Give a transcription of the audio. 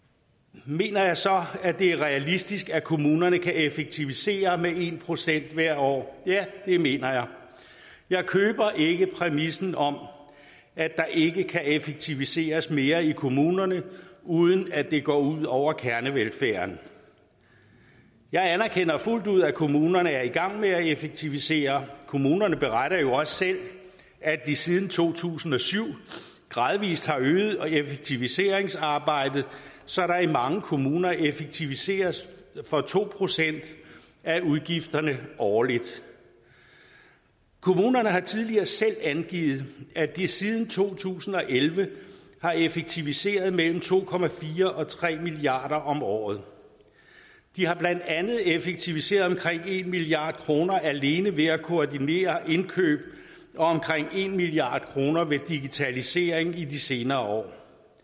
mener jeg så at det er realistisk at kommunerne kan effektivisere med en procent hvert år ja det mener jeg jeg køber ikke præmissen om at der ikke kan effektiviseres mere i kommunerne uden at det går ud over kernevelfærden jeg anerkender fuldt ud at kommunerne er i gang med at effektivisere kommunerne beretter jo også selv at de siden to tusind og syv gradvis har øget effektiviseringsarbejdet så der i mange kommuner effektiviseres for to procent af udgifterne årligt kommunerne har tidligere selv angivet at de siden to tusind og elleve har effektiviseret for mellem to og tre milliard kroner om året de har blandt andet effektiviseret for omkring en milliard kroner alene ved at koordinere indkøb og omkring en milliard kroner ved digitalisering i de senere år